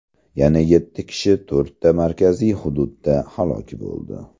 Yana yetti kishi to‘rtta markaziy hududda halok bo‘ldi.